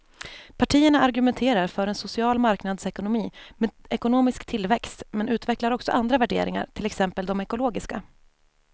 Partierna argumenterar för en social marknadsekonomi med ekonomisk tillväxt men utvecklar också andra värderingar, till exempel de ekologiska.